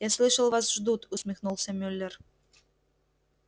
я слышал вас ждут усмехнулся мюллер